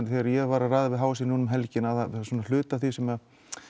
þegar ég var að ræða við h s í nú um helgina þá er hluti af því sem